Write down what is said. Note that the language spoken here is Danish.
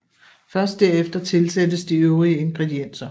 Først derefter tilsættes de øvrige ingredienser